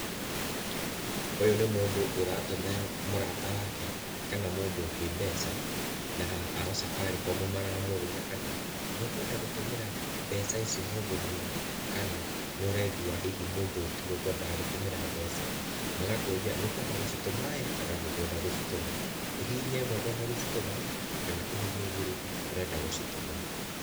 Ũyũ nĩ mũndũ ũratũmira mũrata wake kana mũndũ ũngĩ mbeca, na ao Safaricom maramũria kana nĩ ũkwenda gũtũmĩra mbeca ici mũndũ mũna, kana nĩ ũraigwa hihi mũndũ ũyũ ti we ũkwendaga gũtũmira mbeca. Magakũria ni ũkwenda gũcitũma ĩ, kana ndũkwenda gũcitũma? Ũhihinye ĩmwe kwenda gũcitũma, kana ũhihinye igĩri ndũrenda gũcitũma.